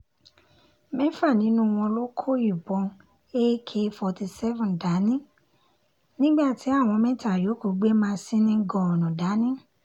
mẹ́fà nínú wọn ló kó ìbọn ak fourty seven dání nígbà tí àwọn mẹ́ta yòókù gbé masinni gọ́ọ̀nù dání